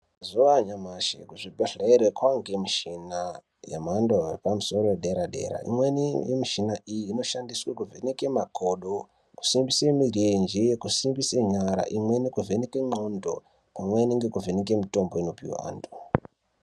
Mazuva anyamashi kuzvibhedhlera kwaanemichina yepamusoro yedera-dera. Imweni yemichina iyi inoshandiswe kuvheneke makodo, kusimbise mirenje kusimbise nyara. Imweni kuvheneke ndxondo pamweni nekuvheneke mitombo inopihwe antu.